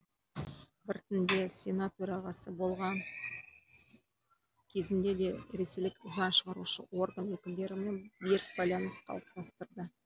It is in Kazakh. біртінде сенат төрағасы болған кезінде де ресейлік заң шығарушы орган өкілдерімен берік байланыс қалыптастырды